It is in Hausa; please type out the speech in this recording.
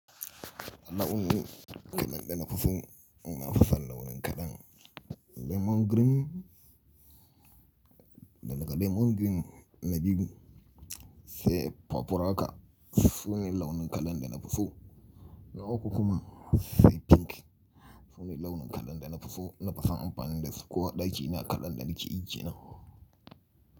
Launin kalan da na fi so na fison launin kalan lemon green da daga lemon green neavy blue sai papuraka sune launin kalan da na fi so. Na uku kuma sai pink sune launin kalan da na fi so nafi sona amfanin da su ko a ɗakina kalan danike yi kenan.